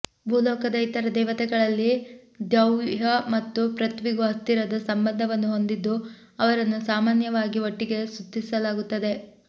ಭೂ ಲೋಕದ ಇತರ ದೇವತೆಗಳಲ್ಲಿ ದ್ಯೌಃ ಮತ್ತು ಪೃಥ್ವಿಗೂ ಹತ್ತಿರದ ಸಂಬಂಧವನ್ನು ಹೊಂದಿದ್ದು ಅವರನ್ನು ಸಾಮಾನ್ಯವಾಗಿ ಒಟ್ಟಿಗೆ ಸ್ತುತಿಸಲಾಗುತ್ತದೆ